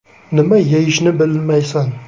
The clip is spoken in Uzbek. Nima yeyishni bilmaysan.